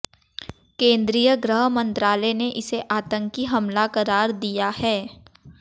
केंद्रीय गृह मंत्रालय ने इसे आतंकी हमला करार दिया है